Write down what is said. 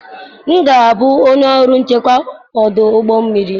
M ga-abụ onye ọrụ nchekwa ọdụ ụgbọ mmiri.